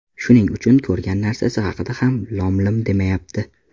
Shuning uchun ko‘rgan narsasi haqida ham lom-lim demayapti”.